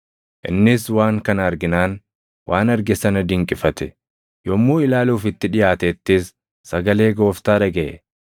Innis waan kana arginaan waan arge sana dinqifate. Yommuu ilaaluuf itti dhiʼaatettis sagalee Gooftaa dhagaʼe.